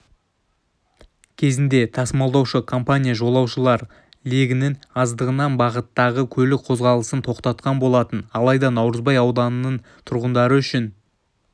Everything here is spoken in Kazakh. кезінде тасымалдаушы компания жолаушылар легінің аздығынан бағыттағы көлік қозғалысын тоқтатқан болатын алайда наурызбай ауданының тұрғындары үшін